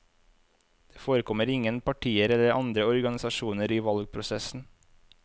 Det forekommer ingen partier eller andre organisasjoner i valgprosessen.